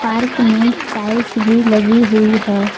Park में tiles भी लगी हुई है।